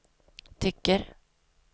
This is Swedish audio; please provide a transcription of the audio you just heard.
tycker